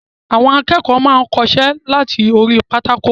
Àwọn akẹ́kọ̀ọ́ máa n kọsẹ́ lati orí pátákó.